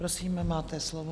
Prosím, máte slovo.